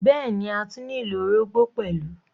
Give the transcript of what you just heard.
Bẹ́ẹ̀ni, a tún nílò orógbó pẹ̀lú.